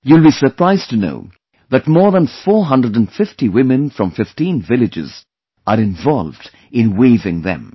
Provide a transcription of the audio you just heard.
You will be surprised to know that more than 450 women from 15 villages are involved in weaving them